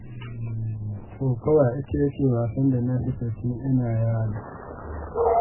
Kokawa ita ce wasan da na fi so tun ina yaro.